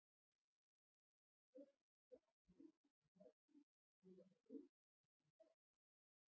Getur skorað mikið af mörkum og er reynsluboltinn hjá þeim.